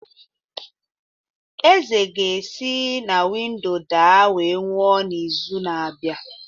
Eze ga-esi na windo daa wee nwụọ n’izu na-abịa